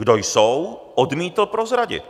Kdo jsou, odmítl prozradit.